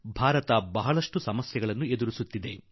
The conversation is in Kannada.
ಭಾರತ ಅಂದಂತೆ ಅನೇಕ ಸಮಸ್ಯೆಗಳನ್ನು ಎದುರಿಸುತ್ತಿದೆ